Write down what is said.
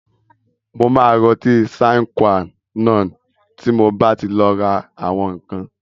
Mà rá ọtí "Sine Qua non" tí mo bá ti lọ ra àwọn ǹkan.